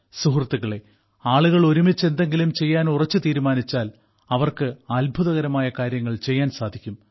സുഹൃത്തുക്കളേ ആളുകൾ ഒരുമിച്ച് എന്തെങ്കിലും ചെയ്യാൻ ഉറച്ചു തീരുമാനിച്ചാൽ അവർക്ക് അത്ഭുതകരമായ കാര്യങ്ങൾ ചെയ്യാൻ സാധിക്കും